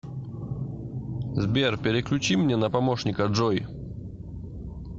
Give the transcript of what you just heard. сбер переключи мне на помощника джой